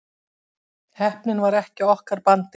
Heppnin var ekki á okkar bandi